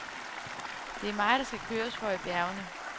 Det er mig, der skal køres for i bjergene.